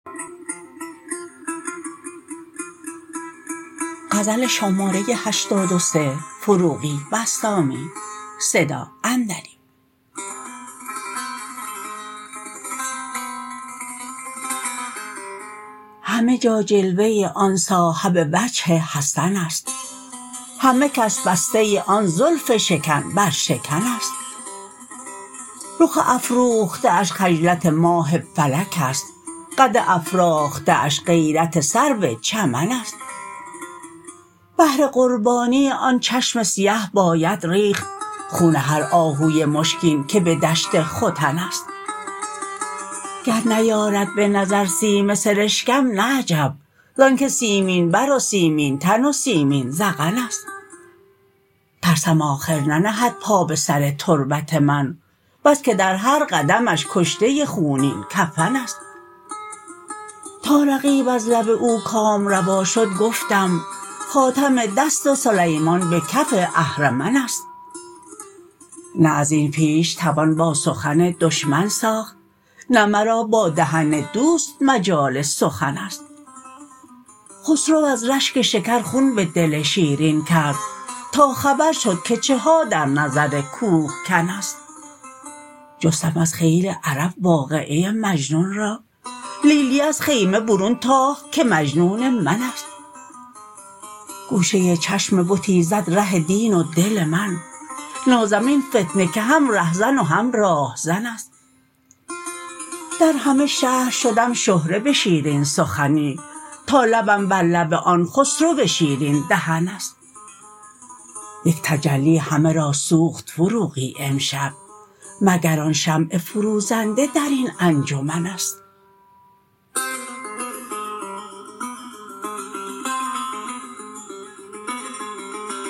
همه جا جلوه آن صاحب وجه حسن است همه کس بسته آن زلف شکن بر شکن است رخ افروخته اش خجلت ماه فلک است قد افراخته اش غیرت سرو چمن است بهر قربانی آن چشم سیه باید ریخت خون هر آهوی مشکین که به دشت ختن است گر نیارد به نظر سیم سرشکم نه عجب زان که سیمین بر و سیمین تن و سیمین ذقن است ترسم آخر ننهد پا به سر تربت من بس که در هر قدمش کشته خونین کفن است تا رقیب از لب او کام روا شد گفتم خاتم دست سلیمان به کف اهرمن است نه ازین پیش توان با سخن دشمن ساخت نه مرا با دهن دوست مجال سخن است خسرو از رشک شکر خون به دل شیرین کرد تا خبر شد که چه ها در نظر کوه کن است جستم از خیل عرب واقعه مجنون را لیلی از خیمه برون تاخت که مجنون من است گوشه چشم بتی زد ره دین و دل من نازم این فتنه که هم رهزن و هم راهزن است در همه شهر شدم شهره به شیرین سخنی تا لبم بر لب آن خسرو شیرین دهن است یک تجلی همه را سوخت فروغی امشب مگر آن شمع فروزنده در این انجمن است